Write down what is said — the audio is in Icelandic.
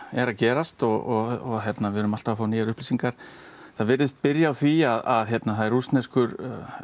er að gerast og við erum alltaf að fá nýjar upplýsingar það virðist byrja á því að það er rússneskur